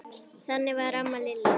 Þannig var amma Lillý.